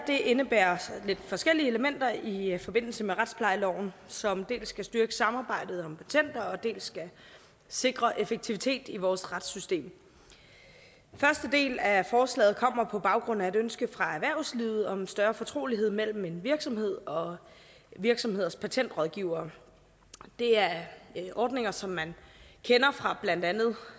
indebærer lidt forskellige elementer i forbindelse med retsplejeloven som dels skal styrke samarbejdet om patenter dels skal sikre effektivitet i vores retssystem den første del af forslaget kommer på baggrund af et ønske fra erhvervslivet om en større fortrolighed mellem virksomheder og virksomheders patentrådgivere det er ordninger som man kender fra blandt andet